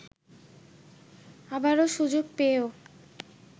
আবারো সুযোগ পেয়েও